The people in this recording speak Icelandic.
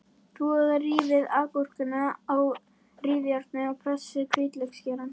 Þvoið og rífið agúrkuna á rifjárni og pressið hvítlauksgeirann.